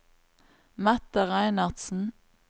Mette Reinertsen